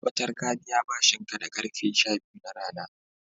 tabbatar ka biya bashin ka da karfe sha biyu na rana